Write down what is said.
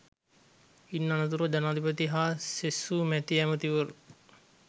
ඉන් අනතුරුව ජනාධිපති හා සෙසු මැති ඇමැතිවරු